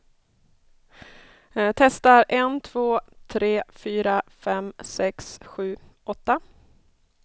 Testar en två tre fyra fem sex sju åtta.